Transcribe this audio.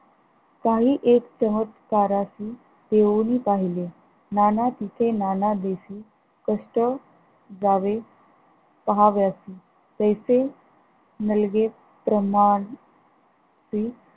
काही एक प्रहत करशी घेऊनि पहिले नाना सुखे नाना देशी कष्ट यावे पहावेसी तैसे नलगे ब्रहाड सी